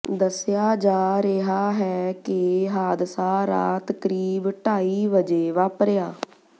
ਦੱਸਿਆ ਜਾ ਰਿਹਾ ਹੈ ਕਿ ਹਾਦਸਾ ਰਾਤ ਕਰੀਬ ਢਾਈ ਵਜੇ ਵਾਪਰਿਆ